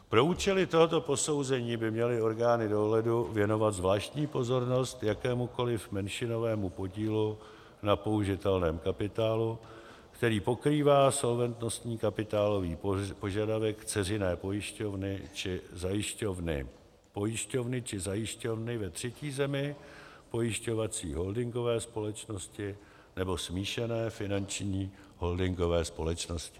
Pro účely tohoto posouzení by měly orgány dohledu věnovat zvláštní pozornost jakémukoli menšinovému podílu na použitelném kapitálu, který pokrývá solventnostní kapitálový požadavek dceřiné pojišťovny či zajišťovny, pojišťovny či zajišťovny ve třetí zemi, pojišťovací holdingové společnosti nebo smíšené finanční holdingové společnosti.